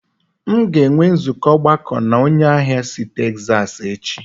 M ga-enwe nzukọ ogbako na onye ahịa si Texas echi